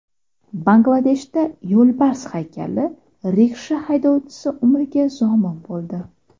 Bangladeshda yo‘lbars haykali riksha haydovchisi umriga zomin bo‘ldi.